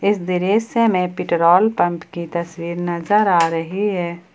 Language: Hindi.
इस दृश्य से में पेट्रोल पंप की तस्वीर नजर आ रही है।